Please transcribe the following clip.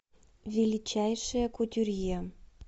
величайший кутюрье